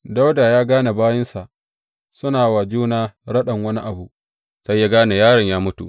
Dawuda ya gane bayinsa suna wa juna raɗan wani abu, sai ya gane yaron ya mutu.